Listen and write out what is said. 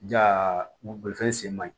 Jago bolifɛn sen ma ɲi